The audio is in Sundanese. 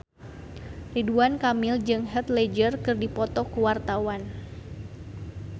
Ridwan Kamil jeung Heath Ledger keur dipoto ku wartawan